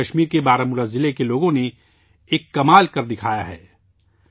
اب جموں و کشمیر کے بارہمولہ ضلع کے لوگوں نے ایک شاندار کام کیا ہے